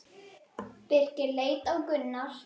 Birkir leit á Gunnar.